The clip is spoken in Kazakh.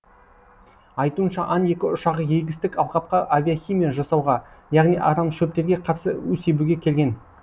айтуынша ан екі ұшағы егістік алқапқа авиахимия жасауға яғни арамшөптерге қарсы у себуге келген